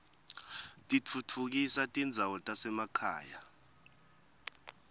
titfutfukisa tindzawo tasemakhaya